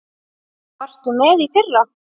Varstu með í fyrra?